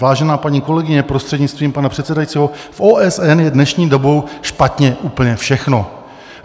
Vážená paní kolegyně, prostřednictvím pana předsedajícího, v OSN je dnešní dobou špatně úplně všechno.